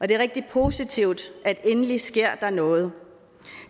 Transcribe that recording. det er rigtig positivt at der endelig sker noget